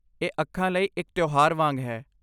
ਇਹ ਅੱਖਾਂ ਲਈ ਇੱਕ ਤਿਉਹਾਰ ਵਾਂਗ ਹੈ।